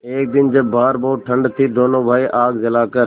एक दिन जब बाहर बहुत ठंड थी दोनों भाई आग जलाकर